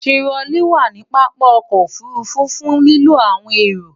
Tirolí wà ní pápá o̩kò̩ òfurufú fun lilo awon ero.